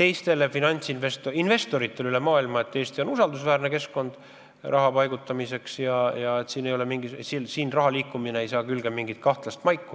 teistele finantsasutustele ja investoritele üle maailma signaali, et Eesti on usaldusväärne keskkond raha paigutamiseks ja siin raha liikumine ei saa külge mingit kahtlast maiku.